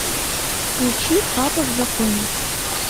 включи папа в законе